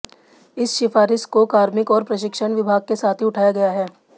इस सिफारिश को कार्मिक और प्रशिक्षण विभाग के साथ भी उठाया गया है